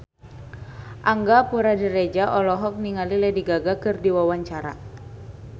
Angga Puradiredja olohok ningali Lady Gaga keur diwawancara